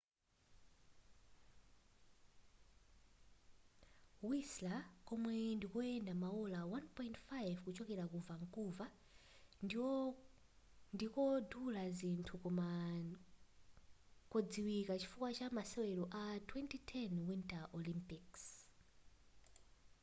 whistler komwe ndikoyenda maola 1.5 kuchokera ku vancouver ndikodula zinthu koma ndi kodziwika chifukwa chamasewelo a 2010 winter olympic